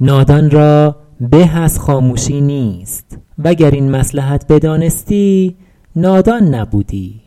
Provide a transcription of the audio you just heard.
نادان را به از خاموشی نیست وگر این مصلحت بدانستی نادان نبودی